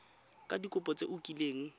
ka dikopo tse o kileng